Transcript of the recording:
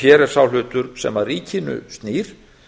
hér er sá hlutur sem að ríkinu snýr